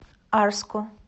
арску